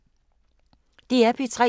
DR P3